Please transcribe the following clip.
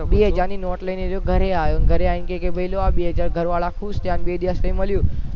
બે હજાર ની નોટ લઇ ને એ ઘરે આવ્યો અને ઘરે આવીને કહ્યું ભઈ આ લ્યો બે હજાર ઘર વાળા ખુશ થયાં અને બે દિવસ પસી મળ્યું